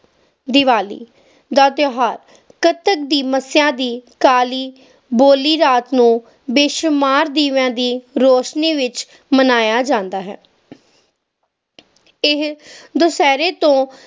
ਦੀਵਾਲੀ ਦਾ ਤਿਓਹਾਰ ਕੱਤਕ ਦੀ ਮੱਸਿਆ ਦੀ ਕਾਲੀ ਬੋਲੀ ਰਾਤ ਨੂੰ ਬੇਸ਼ੁਮਾਰ ਦੀਵੀਆਂ ਦੀ ਰੋਸ਼ਨੀ ਵਿਚ ਮਨਾਇਆ ਜਾਂਦਾ ਹੈ ਇਹ ਦੁਸਹਿਰੇ ਤੋਂ